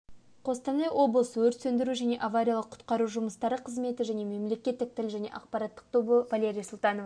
қостанай облысы өрт сөндіру және авариялық-құтқару жұмыстары қызметі және мемлекеттік тіл және ақпарат тобы валерия султанова